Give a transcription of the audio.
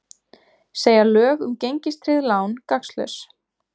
Segja lög um gengistryggð lán gagnslaus